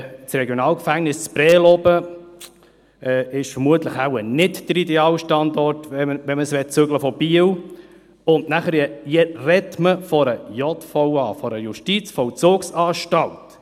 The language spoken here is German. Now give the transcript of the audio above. Ein Regionalgefängnis in Prêles ist vermutlich wohl nicht der ideale Standort, wenn man es von Biel zügeln möchte, und nachher spricht man von einer JVA.